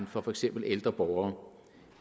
for for eksempel ældre borgere